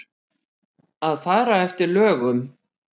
Að fara eftir lögum.